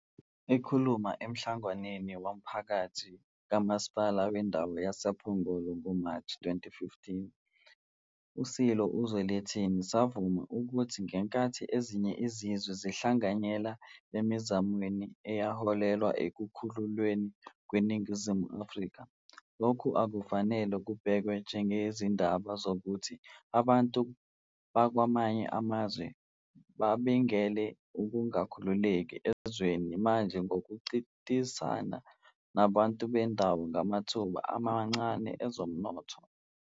Ekhuluma emhlanganweni womphakathi kaMasipala Wendawo wayePhongolo ngoMashi 2015, iSilo uZwelithini savuma ukuthi ngenkathi ezinye izizwe zihlanganyele emizamweni eyaholela ekukhululweni kweNingizimu Afrika, lokho akufanele kubhekwe njengezaba zokuthi abantu bakwamanye amazwe babangele ukungakhululeki ezweni manje ngokuncintisana nabantu bendawo ngamathuba amancane ezomnotho.